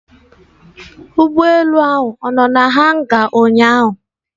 Ụgbọelu ahụ ọ nọ na hanga ụnyaahụ